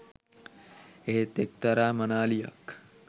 එහෙත් එක්තරා මනාලියක්